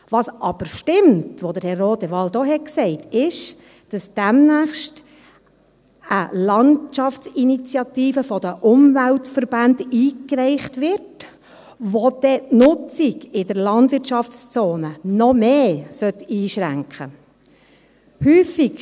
Was aber stimmt, was Herr Rodewald auch gesagt hat, ist, dass demnächst eine Landschaftsinitiative von den Umweltverbänden eingereicht wird, die dann die Nutzung in der Landwirtschaftszone noch mehr einschränken sollte.